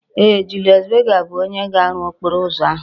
Ee, Julius Berger bu onye ga-aru okporo uzo ahu